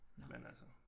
Nåh